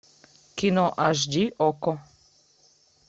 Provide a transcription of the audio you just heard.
кино аш ди окко